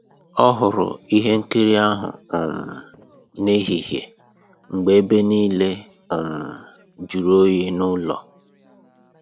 Ọ hụrụ ihe nkiri ahụ um n'ehihie mgbe ebe niile um jụrụ oyi n'ụlọ